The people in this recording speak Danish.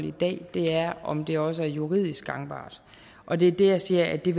i dag det er om det også er juridisk gangbart og det er der jeg siger at det